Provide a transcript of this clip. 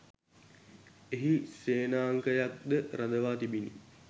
එහි සේනාංකයක්ද රඳවා තිබිණි